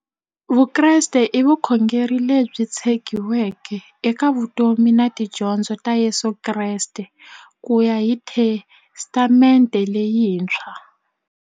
Vukreste i vukhongeri lebyi tshegiweke eka vutomi na tidyondzo ta Yesu Kreste kuya hi Testamente leyintshwa.